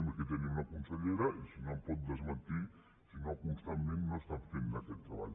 i aquí tenim la consellera i em pot desmentir si constantment no fan aquest treball